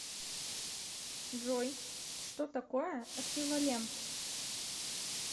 джой что такое эквивалент